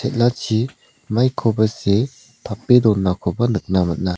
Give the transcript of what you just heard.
maikoba see tape donaniko nikna man·a.